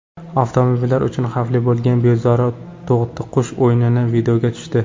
Avtomobillar uchun xavfli bo‘lgan bezori to‘tiqush o‘yini videoga tushdi .